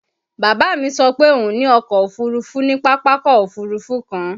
Bàbá mi sọ pé òun ní ọkọ Òfurufú ní Pápákọ̀ Òfurufú kan